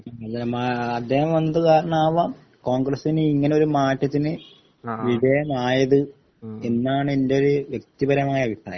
അദ്ദേഹം വന്നത് കാരണമാവാം കോൺഗ്രസിന് ഇങ്ങനെ ഒരു മാറ്റത്തിന് വിധേയമായത് എന്നാണ് എൻ്റെ ഒരു വ്യക്തിപരമായ അഭിപ്രായം